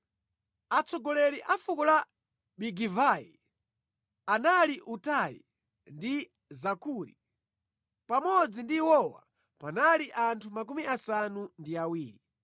Atsogoleri a fuko la Bigivai anali Utai ndi Zakuri. Pamodzi ndi iwowa panali anthu 70.